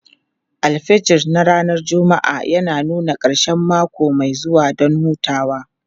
Alfijir na ranar Juma'a yana nuna ƙarshen mako mai zuwa don hutawa.